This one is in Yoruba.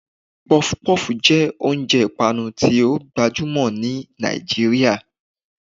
puff-puff jẹ oúnjẹ ipanú ti o gbajumọ ni Nijiriria